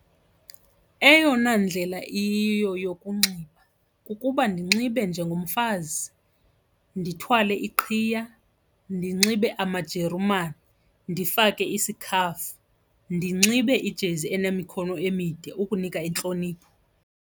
Eyona ndlela iyiyo yokunxiba kukuba ndinxibe njengomfazi ndithwale iqhiya, ndinxibe amajerumani, ndifake isikhafu, ndinxibe ijezi enemikhono emide ukunika intlonipho.